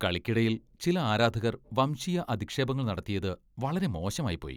കളിക്കിടയിൽ ചില ആരാധകർ വംശീയ അധിക്ഷേപങ്ങൾ നടത്തിയത് വളരെ മോശമായിപ്പോയി .